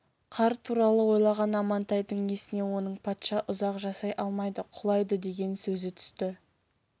қар туралы ойлаған амантайдың есіне оның патша ұзақ жасай алмайды құлайды деген сөзі түсті